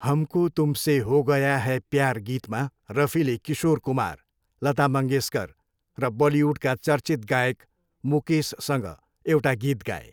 हमको तुमसे हो गया है प्यार गीतमा रफीले किशोर कुमार, लता मङ्गेसकर र बलिउडका चर्चित गायक मुकेससँग एउटा गीत गाए।